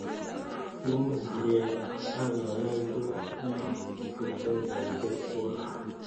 Ibu kalyet ak kayasyet eng' kipakengeisyek twai